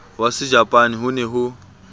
wa sejapane ho ne ho